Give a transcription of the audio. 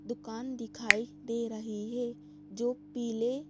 दुकान दिखाई दे रही है जो पीले--